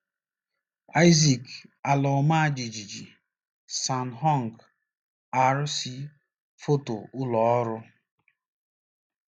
Isaac; ala ọma jijiji: San Hong R - C Foto ụlọ ọrụ.